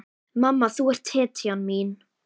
Mamma, þú ert hetjan mín.